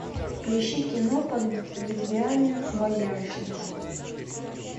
поищи кино под ветвями боярышника